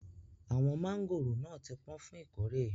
Awọn mangóró náà ti pọ̀n fún ìkórè.